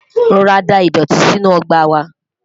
rọra dá idọti sínú ọgbà wa